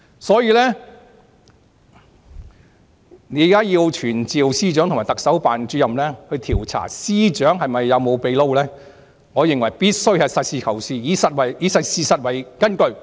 所以，現在要傳召司長和特首辦主任，調查司長有否"秘撈"，我認為必須實事求是，以事實為根據。